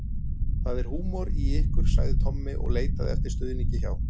Það er húmor í ykkur sagði Tommi og leitaði eftir stuðningi hjá